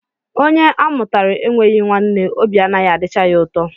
Onye a mụtara enweghị nwanne, obi anaghị adịcha ya ụtọ